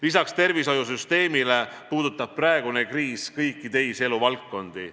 Lisaks tervishoiusüsteemile puudutab praegune kriis kõiki teisi eluvaldkondi.